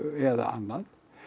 eða annað